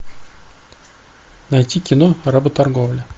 найти кино работорговля